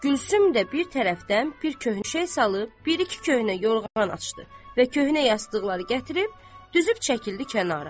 Gülsüm də bir tərəfdən bir köhnə şey salıb, bir iki köhnə yorğan açdı və köhnə yastıqları gətirib düzüb çəkildi kənara.